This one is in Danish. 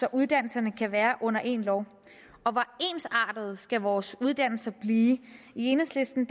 at uddannelserne kan være under én lov og hvor ensartede skal vores uddannelser blive i enhedslisten